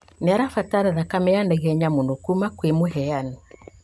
Nĩarabatara thakame ya naihenya mũno kuma kwĩ mũheani